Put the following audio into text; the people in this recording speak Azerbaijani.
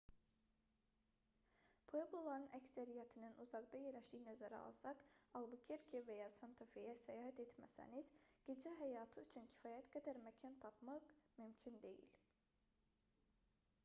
puebloların əksəriyyətinin uzaqda yerləşdiyini nəzərə alsaq albukerke və ya santa-feyə səyahət etməsəniz gecə həyatı üçün kifayət qədər məkan tapmaq mümkün deyil